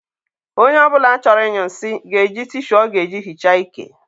onye ọ bụla chọrọ ịnyụ nsị ga-eji tishu ọ ga-eji hichaa ike.